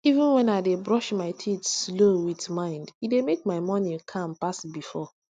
even when i dey brush my teeth slow with mind e dey make my morning calm pass before